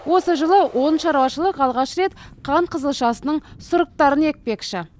осы жылы он шаруашылық алғаш рет қант қызылшасының сұрыптарын екпекші